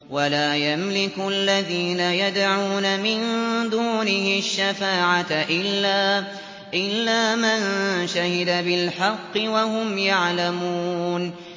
وَلَا يَمْلِكُ الَّذِينَ يَدْعُونَ مِن دُونِهِ الشَّفَاعَةَ إِلَّا مَن شَهِدَ بِالْحَقِّ وَهُمْ يَعْلَمُونَ